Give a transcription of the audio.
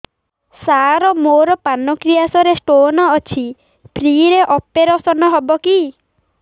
ସାର ମୋର ପାନକ୍ରିଆସ ରେ ସ୍ଟୋନ ଅଛି ଫ୍ରି ରେ ଅପେରସନ ହେବ କି